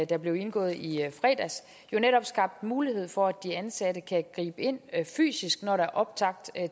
der blev indgået i fredags jo netop skabte mulighed for at de ansatte kan gribe ind fysisk når der er optræk